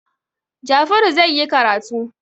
Jafaru zai yi karatu.